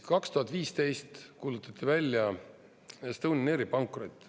2015. aastal kuulutati välja Estonian Airi pankrot.